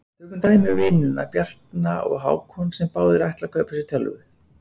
Tökum dæmi um vinina Bjarna og Hákon sem báðir ætla að kaupa sér tölvu.